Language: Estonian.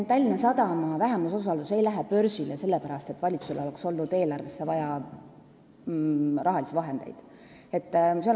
Tallinna Sadama vähemusosalus ei lähe börsile sellepärast, et valitsusel on eelarvesse raha juurde vaja.